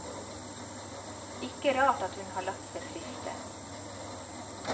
Ikke rart at hun har latt seg friste.